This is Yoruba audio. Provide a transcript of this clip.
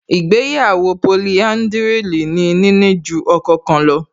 Ìgbéyàwó polihádrìlì ni níní ju ọkọ kan lọ